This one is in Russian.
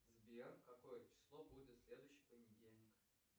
сбер какое число будет в следующий понедельник